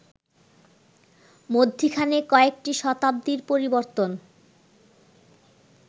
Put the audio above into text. মধ্যিখানে কয়েকটি শতাব্দীর পরিবর্তন